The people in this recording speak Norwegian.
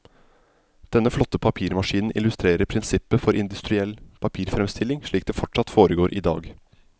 Denne flotte papirmaskinen illustrerer prinsippet for industriell papirfremstilling, slik det fortsatt foregår i dag.